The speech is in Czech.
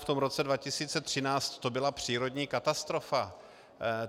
V tom roce 2013 to byla přírodní katastrofa.